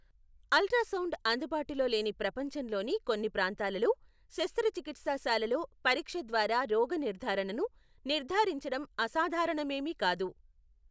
Ultrasound అందుబాటులో లేని ప్రపంచంలోని కొన్ని ప్రాంతాలలో, శస్త్రచికిత్సా శాలలో పరీక్ష ద్వారా రోగ నిర్ధారణను నిర్ధారించడం అసాధారణమేమీ కాదు.